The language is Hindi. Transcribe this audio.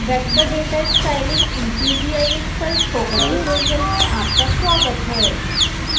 vector data styling in qgis पर स्पोकन ट्यूटोरियल में आपका स्वागत है